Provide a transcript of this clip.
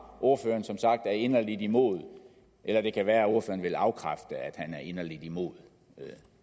at ordføreren er inderlig imod eller det kan være at ordføreren vil afkræfte at han er inderlig imod